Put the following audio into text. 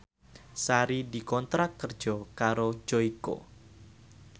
Sari dikontrak kerja karo Joyko